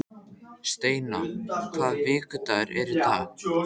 Steina, hvaða vikudagur er í dag?